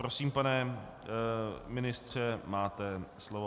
Prosím, pane ministře, máte slovo.